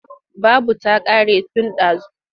Babu ta ƙare tun ɗazu.